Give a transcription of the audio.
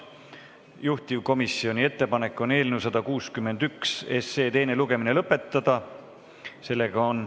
Juhtivkomisjoni ettepanek on eelnõu 161 teine lugemine lõpetada.